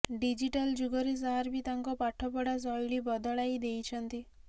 digital ଯୁଗରେ sir ବି ତାଙ୍କର ପାଠ ପଢ଼ା ଶୈଳୀ ବଦଳାଇ ଦେଇଛନ୍ତି